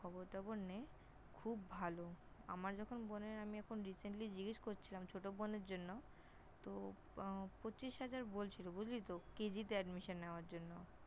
খবর টবর নে, খুব ভালো । আমার যখন বোনের আমি এখন Recently জিগেস করছিলাম ছোট বোনের জন্য, তো উম পঁচিশ হাজার বলছিল বুঝলি তো? KG -তে নেওয়ার জন্য।